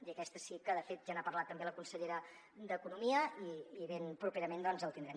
i aquesta sí que de fet ja n’ha parlat també la consellera d’economia i ben properament doncs el tindrem